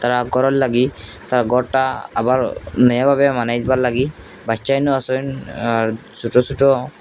তা করার লাগি তা ঘরটা আবার নয়া ভাবে বানাইবার লাগি বাচ্চাজনও আসেন আর ছোটো ছোটো--